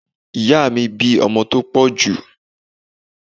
Ìyáà mi bí ọmọ tó pọ̀ jù.